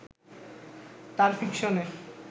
তার ফিকশনে